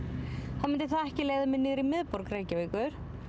þá myndi það ekki leiða mig niður í miðborg Reykjavíkur